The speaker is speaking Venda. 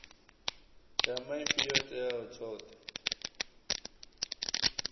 ya maipfi yo tea tshoṱhe